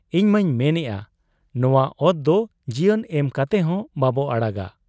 ᱤᱧᱢᱟᱹᱧ ᱢᱮᱱᱟ ᱱᱚᱶᱟ ᱚᱛᱫᱚ ᱡᱤᱭᱚᱱ ᱮᱢ ᱠᱟᱛᱮᱦᱚᱸ ᱵᱟᱵᱚ ᱟᱲᱟᱜᱟ ᱾